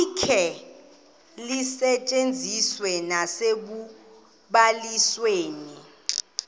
likhe lisetyenziswe nasekubalisweni